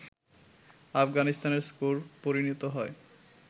আফগানিস্তানের স্কোর পরিণত হয়